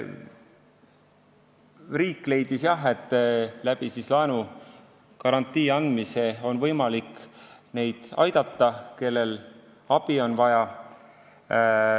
Riik leidis, et laenugarantii andmisega on võimalik abivajajaid aidata.